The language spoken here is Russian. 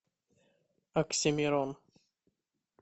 оксимирон